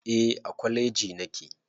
Eh a kwaleji nake